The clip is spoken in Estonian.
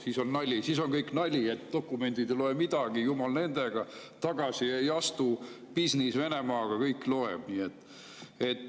Siis on nali, siis on kõik nali, dokumendid ei loe midagi, jumal nendega, tagasi ei astu, bisnis Venemaaga, kõik loeb.